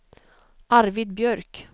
Arvid Björk